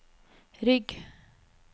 rygg